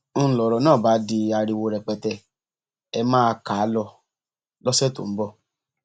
n lọrọ náà bá di ariwo rẹpẹtẹ ẹ máa kà á lọ lọsẹ tó ń bọ